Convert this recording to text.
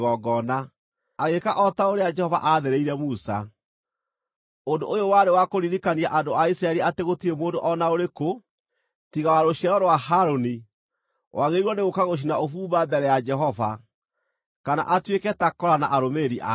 agĩĩka o ta ũrĩa Jehova aathĩrĩire Musa. Ũndũ ũyũ warĩ wa kũririkania andũ a Isiraeli atĩ gũtirĩ mũndũ o na ũrĩkũ, tiga wa rũciaro rwa Harũni, wagĩrĩirwo nĩ gũũka gũcina ũbumba mbere ya Jehova, kana atuĩke ta Kora na arũmĩrĩri ake.